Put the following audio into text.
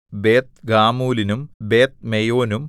ബേത്ത്ഗാമൂലിനും ബേത്ത്മെയോനും